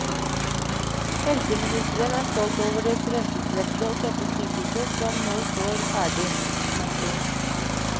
Helseministeren er stolt over det fremtidsrettede og flotte sykehuset som nå står ferdig. punktum